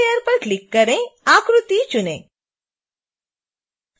stem layer पर click करके आकृति चुनें